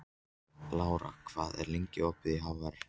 Lara, hvað er lengi opið í HR?